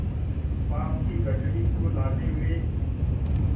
उस पाप की गठरी को लादे हुए